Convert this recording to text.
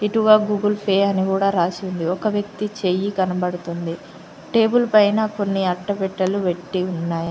ఇటువైపు Google Pay అని కూడా రాసి ఉంది ఒక వ్యక్తి చెయ్యి కనబడుతుంది టేబుల్ పైన కొన్ని అట్టపెట్టేలు పెట్టీ ఉన్నాయి